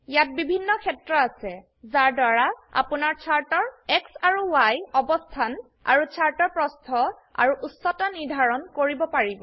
ইয়াত বিভিন্ন ক্ষেত্ৰ আছে যাৰ দ্বাৰা আপোনাৰ চাৰ্টৰ X আৰু Y অবস্থান আৰুচাৰ্টৰ প্ৰস্থ আৰু উচ্চতা নিৰ্ধাৰন কৰিব পাৰিব